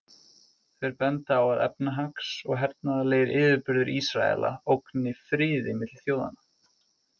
Þeir benda á að efnahags- og hernaðarlegir yfirburðir Ísraela ógni friði milli þjóðanna.